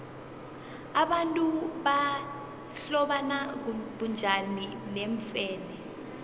abantu bahlobana bunjani neemfene